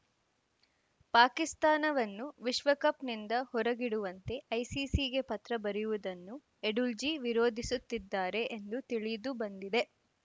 ಪಾಕಿಸ್ತಾನವನ್ನು ವಿಶ್ವಕಪ್‌ನಿಂದ ಹೊರಗಿಡುವಂತೆ ಐಸಿಸಿಗೆ ಪತ್ರ ಬರೆಯುವುದನ್ನು ಎಡುಲ್ಜಿ ವಿರೋಧಿಸುತ್ತಿದ್ದಾರೆ ಎಂದು ತಿಳಿದುಬಂದಿದೆ